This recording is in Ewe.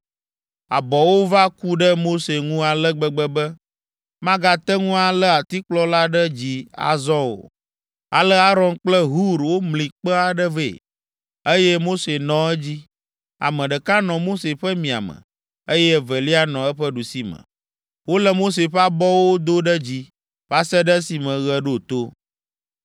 Abɔwo va ku ɖe Mose ŋu ale gbegbe be, magate ŋu alé atikplɔ la ɖe dzi azɔ o. Ale Aron kple Hur womli kpe aɖe vɛ, eye Mose nɔ edzi. Ame ɖeka nɔ Mose ƒe miame, eye evelia nɔ eƒe ɖusime. Wolé Mose ƒe abɔwo do ɖe dzi va se ɖe esime ɣe ɖo to.